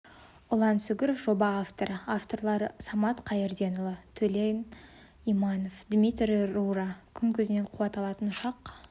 ұлан сүгіров жоба авторы авторлары самат қайырденұлы төлеген иманов дмитрий рура күн көзінен қуат алатын ұшақ